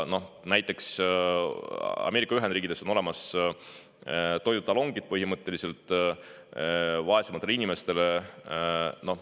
Näiteks Ameerika Ühendriikides on olemas põhimõtteliselt toidutalongid vaesematele inimestele.